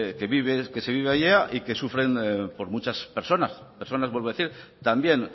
que se vive allá y que sufren muchas personas personas vuelvo a decir también